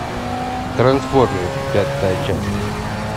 трансформер пятая часть